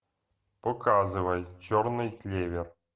показывай черный клевер